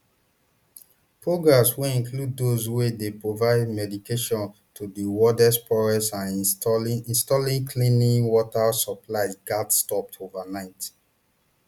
programmes wey include those wey dey provide medication to di world poorest and installing installing clean water supplies gatz stop overnight